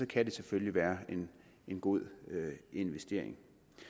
kan det selvfølgelig være en god investering